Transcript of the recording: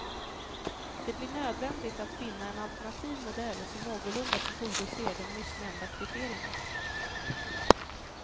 Det blir nödvändigt att finna en alternativ modell som någorlunda tillgodoser de nyss nämnda kriterierna.